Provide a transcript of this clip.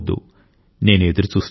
నేను ఎదురుచూస్తూ ఉంటా